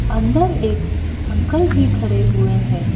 अंदर एक अंकल भी खड़े हुए हैं।